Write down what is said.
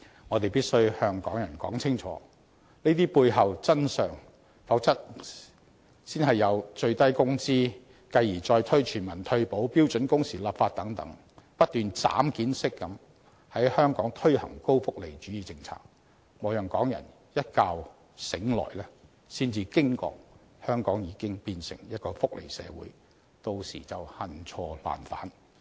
我們必須向香港人清楚說明這些背後的真相，否則先有最低工資，繼而再推全民退保和標準工時立法等，高福利主義政策會不斷"斬件式"地在香港推出，莫讓港人一覺醒來才驚覺香港已經變成一個福利社會，到時便恨錯難返。